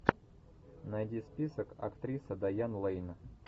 найди список актриса дайан лэйн